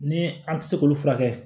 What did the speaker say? Ni an tɛ se k'olu furakɛ